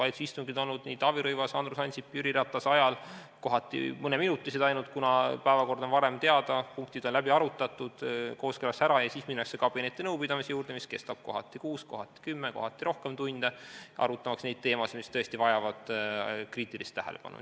Valitsuse istungid on olnud Taavi Rõivase, Andrus Ansipi ja Jüri Ratase ajal kohati ainult mõneminutilised, kuna päevakord on varem teada, punktid on läbi arutatud, kooskõlastatakse ära ja siis minnakse kabinetinõupidamise juurde, mis kestab kohati kuus, kohati kümme ja kohati rohkem tunde, arutamaks neid teemasid, mis tõesti vajavad kriitilist tähelepanu.